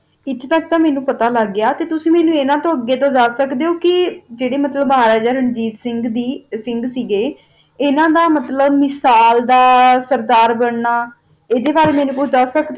ਏਥੋ ਤਕ ਤਾ ਪਤਾ ਲਾਗ ਗਯਾ ਕਾ ਤੁਸੀਂ ਮੇਨੋ ਏਥੋ ਅਗ ਦਸ ਸਕ ਦਾ ਜਾ ਜਰਾ ਮਤਲਬ ਰਾਜਾ ਰਣਜੀਤ ਸਿੰਘ ਦਾ ਸਿੰਘ ਸੀ ਹ ਗਾ ਅਨਾ ਦਾ ਮਤਲਬ ਮਿਸਾਲ ਦਾ ਸਰਦਾਰ ਬੰਨਾ ਅੰਦਾ ਬਾਰਾ ਮੇਨੋ ਕੁਛ ਦਸ ਸਕ ਦਾ ਜਾ